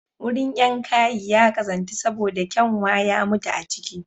Wurin yangayi ya ƙazantu saboda kyanwa ya mutu a ciki